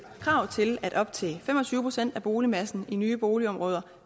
krav til at op til fem og tyve procent af boligmassen i nye boligområder